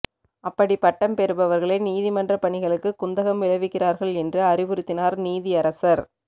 அப்படிப் பட்டம் பெறுபவர்களே நீதிமன்றப் பணிகளுக்குக் குந்தகம் விளைவிக்கிறார்கள் என்று அறிவுறுத்தினார் நீதியரசர்